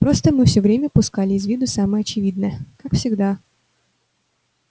просто мы всё время упускали из виду самое очевидное как всегда